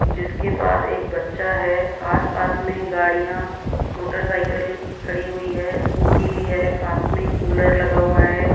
जिसके पास एक बच्चा है आस पास में गाड़ियां मोटरसाइकिल खड़ी हुई है स्कूटी भी है पास में कूलर लगा हुआ है।